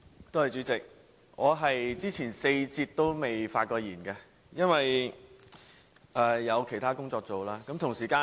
代理主席，我在前4節都未曾發言，因為有其他工作在身。